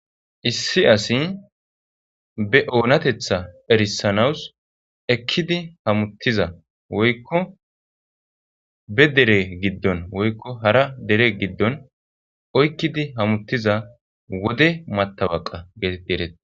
Issi asi be oonatetha erisanawus ekkidi hamuttiza woykko be dere giddon woykko hara dere giddon oykkidi hamuttiza wode matabaqa geetett ereete.